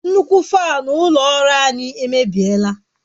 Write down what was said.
Nnukwu fanu ulo ọrụ anyi emebiela